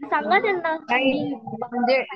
सांगा त्यांना